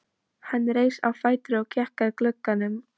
Hann reis á fætur og gekk að glugganum.